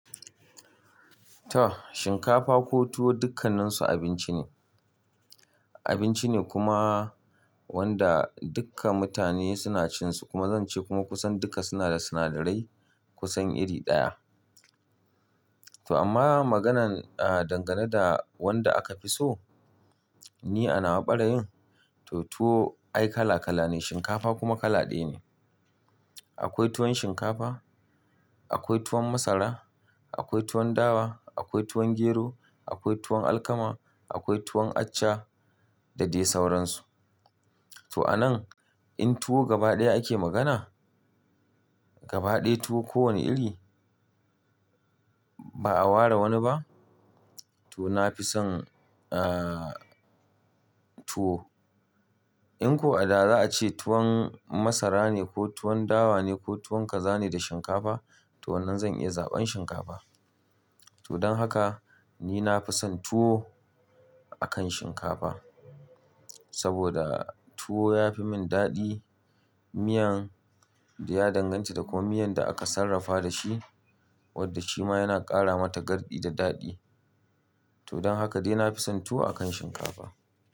To shinkafa ko tuwo dukkanninsu abinci ne, abinci ne kuma wanda dukka mutane suna cin su kuma zan ce kuma kusan duka suna da sinadarai kusan iri ɗaya. To amma maganan, ah, dangane da wanda aka fi so ni a nawa barayin to tuwo ai kala kala ne shinkafa kuma kala ɗaya ne. Akwai tuwon shinkafa, akwai tuwon masara, akwai tuwon dawa, akwai tuwon gero, akwai tuwon alkama, akwai tuwon acca da dai sauransu. To a nan in tuwo gaba ɗaya ake magana gaba ɗaya tuwo ko wane iri ba a ware wani ba to na fi son ah tuwo. In ko a da za a ce tuwon masara ne ko tuwon dawa ne ko tuwon kaza ne da shinkafa to wannan zan iya zaɓan shinkafa. To don haka ni na fi son tuwo akan shinkafa saboda tuwo ya fi min daɗi miyan da ya danganta da ko miyan da aka sarrafa da shi wadda shi ma yana ƙara mata gardi da daɗi. To don haka dai na fi son tuwo akan shinkafa.